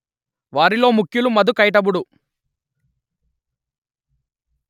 వారిలో ముఖ్యులు మధు కైటభుడు